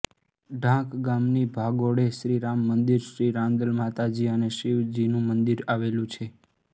ઢાંક ગામની ભાગોળે શ્રી રામ મંદિર શ્રી રાંદલ માતાજી અને શિવજીનું મંદિર આવેલું છે